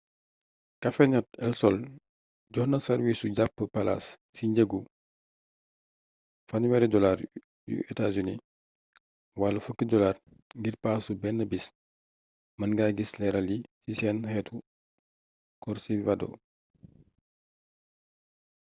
cafenet el sol joxe na am sàrwiisu jàpp palaas ci njëggu us$30 wama $10 ngir paasu benn bis; mën nga gis leeral yi ci seen xëtu corcivado